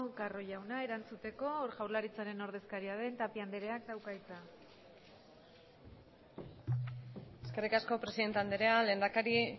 carro jauna erantzuteko jaurlaritzaren ordezkaria den tapia andreak dauka hitza eskerrik asko presidente andrea lehendakari